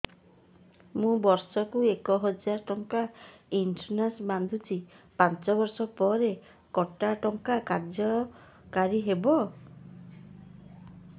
ମୁ ବର୍ଷ କୁ ଏକ ହଜାରେ ଟଙ୍କା ଇନ୍ସୁରେନ୍ସ ବାନ୍ଧୁଛି ପାଞ୍ଚ ବର୍ଷ ପରେ କଟା ଟଙ୍କା କାର୍ଯ୍ୟ କାରି ହେବ